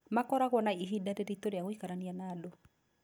Makoragwo na ihinda rĩrĩtũ na gwĩkarania na andũ.